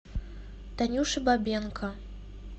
танюше бабенко